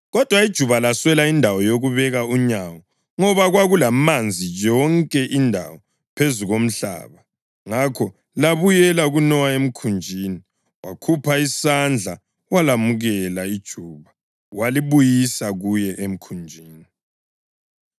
Kodwa ijuba laswela indawo yokubeka unyawo ngoba kwakulamanzi yonke indawo phezu komhlaba; ngakho labuyela kuNowa emkhunjini. Wakhupha isandla walamukela ijuba walibuyisa kuye emkhunjini.